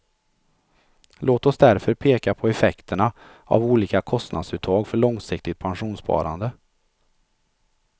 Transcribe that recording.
Låt oss därför peka på effekterna av olika kostnadsuttag för långsiktigt pensionssparande.